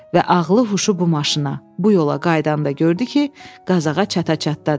Və ağlı huşu bu maşına, bu yola qayıdanda gördü ki, Qazaxa çata-çatdadır.